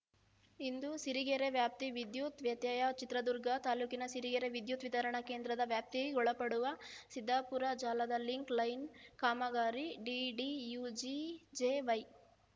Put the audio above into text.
ಇಂದು ಸಿರಿಗೆರೆ ವ್ಯಾಪ್ತಿ ವಿದ್ಯುತ್‌ ವ್ಯತ್ಯಯ ಚಿತ್ರದುರ್ಗ ತಾಲೂಕಿನ ಸಿರಿಗೆರೆ ವಿದ್ಯುತ್‌ ವಿತರಣಾ ಕೇಂದ್ರದ ವ್ಯಾಪ್ತಿಗೊಳಪಡುವ ಸಿದ್ದಾಪುರ ಜಾಲದ ಲಿಂಕ್‌ ಲೈನ್‌ಕಾಮಗಾರಿ ಡಿಡಿಯುಜಿಜೆವೈ